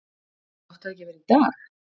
Átti það ekki að vera í dag?